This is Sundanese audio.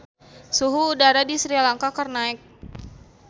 Suhu udara di Sri Lanka keur naek